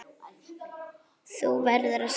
Þú verður að syngja.